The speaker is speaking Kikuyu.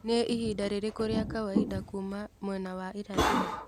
nĩ ihinda rĩrĩkũ rĩa kawaida kuuma mwena wa irathĩro